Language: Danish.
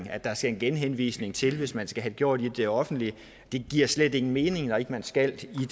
at der skal en genhenvisning til hvis man skal have det gjort i det offentlige det giver slet ingen mening når ikke man skal det